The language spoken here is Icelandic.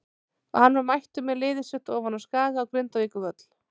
Og hann var mættur með liðið sitt ofan af Skaga á Grindavíkurvöll.